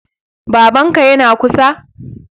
Babanka yana kusa?